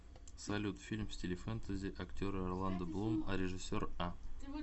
салют фильм в стиле фентези актеры орландо блум а режиссер а